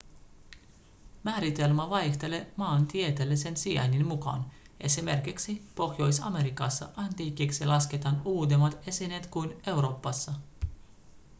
määritelmä vaihtelee maantieteellisen sijainnin mukaan. esimerkiksi pohjois-amerikassa antiikiksi ‎lasketaan uudemmat esineet kuin euroopassa.‎